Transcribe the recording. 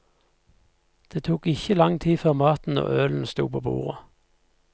Det tok ikke lang tid før maten og ølen stod på bordet.